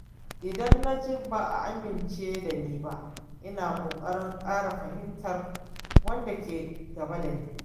Idan na ji ba'a amince dani ba, ina kokarin ƙara fahimtar wanda ke gaba da ni.